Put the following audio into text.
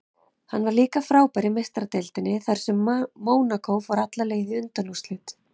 Hann var líka frábær í Meistaradeildinni þar sem Mónakó fór alla leið í undanúrslit.